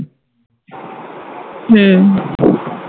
হম